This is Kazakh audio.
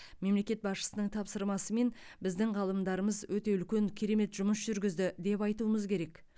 мемлекет басшысының тапсырмасымен біздің ғалымдарымыз өте үлкен керемет жұмыс жүргізді деп айтуымыз керек